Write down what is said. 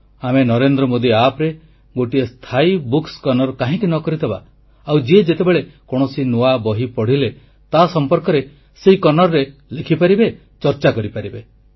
ଆମେ ନରେନ୍ଦ୍ର ମୋଦୀ ଆପରେ ଗୋଟିଏ ସ୍ଥାୟୀ ବୁକ କର୍ଣ୍ଣର କାହିଁକି ନ କରିଦେବା ଆଉ ଯିଏ ଯେତେବେଳେ କୌଣସି ନୂଆ ବହି ପଢ଼ିଲେ ତା ସମ୍ପର୍କରେ ସେ କର୍ଣ୍ଣରରେ ଲେଖିପାରିବେ ଚର୍ଚ୍ଚା କରିପାରିବେ